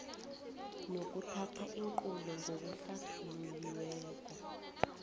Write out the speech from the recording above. nokuthatha iinqunto ngokuhlathululiweko